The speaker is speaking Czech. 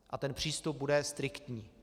A ten přístup bude striktní.